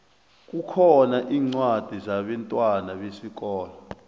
kukhona incwadi zabentwana besikolo